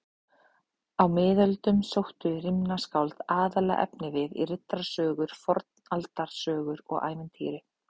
Á miðöldum sóttu rímnaskáld aðallega efnivið í riddarasögur, fornaldarsögur og ævintýri.